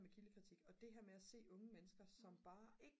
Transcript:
med kildekritik og det her med at se unge mennesker som bare ikke